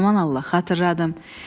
Aman Allah, xatırladım.